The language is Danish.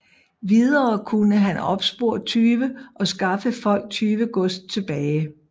Videre kunne han opspore tyve og skaffe folk tyvegods tilbage